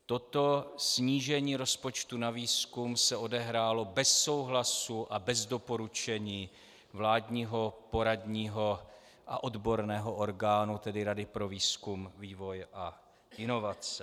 Toto snížení rozpočtu na výzkum se odehrálo bez souhlasu a bez doporučení vládního poradního a odborného orgánu, tedy Rady pro výzkum, vývoj a inovace.